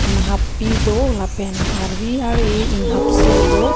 inghap pi do lapen arvi ar eh inghapso do.